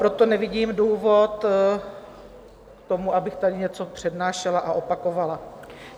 Proto nevidím důvod k tomu, abych tady něco přednášela a opakovala.